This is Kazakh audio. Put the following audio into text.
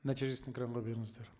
нәтижесін экранға беріңіздер